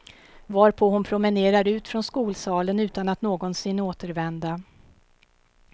Varpå hon promenerar ut från skolsalen utan att någonsin återvända.